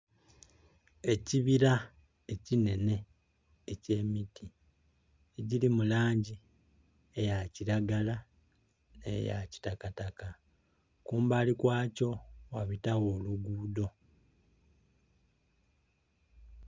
Ekibira ekinene eky'emiti egili mu langi eya kiragala ne ya kitakataka kumbali kwakyo wabitawo olugudho.